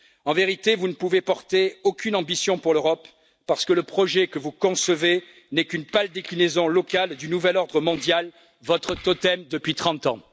En vérité, vous ne pouvez porter aucune ambition pour l'Europe parce que le projet que vous concevez n'est qu'une pâle déclinaison locale du nouvel ordre mondial, votre totem depuis trente ans.